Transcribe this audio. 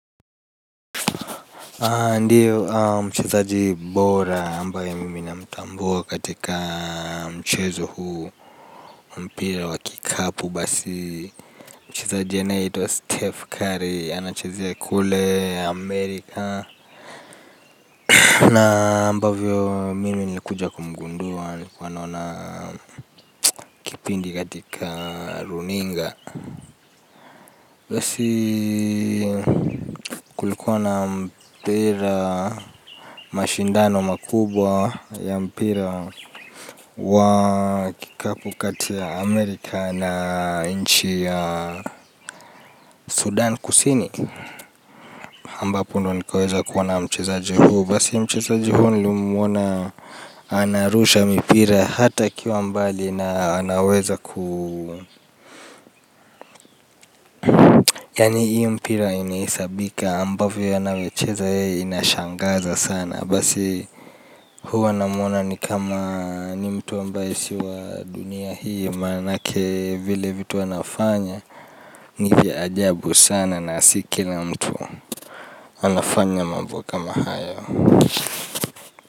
Ndiyo mchezaji bora ambaye mimi namtambua katika mchezo huu mpira wa kikapu basi. Mchezaji anahitua wa Steph Curry anachezea kule Amerika. Na ambavyo mimi nilikuja kumgundua nilikuwa naona pindi katika runinga. Basi kulikuwa na mpira, mashindano makubwa ya mpira wa kikapu kati ya Amerika na nchi ya Sudan kusini. Ambapo ndo nikaweza kuwa na mchezaji hu, basi mchezaji hu nilimuona anarusha mipira hata akiwa mbali na anaweza ku yaani ii mpira inahisabika ambavyo ye anawe cheza yeye inashangaza sana. Basi huwa namwona ni kama ni mtu ambaye si wa dunia hii manake vile vitu anafanya ni vya ajabu sana na si kila mtu anafanya mambo kama hayo.